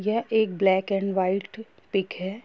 यह एक black and white pic है।